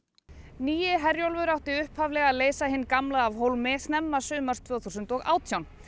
nýi Herjólfur átti upphaflega að leysa hinn gamla af hólmi snemma sumars tvö þúsund og átján